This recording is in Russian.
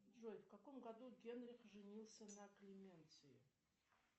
джой в каком году генрих женился на клеменции